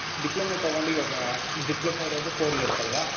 Diploma ತಗೊಂಡು ಇವಾಗಾ, diploma ಇರೋದು four years ಅಲ್ವಾ?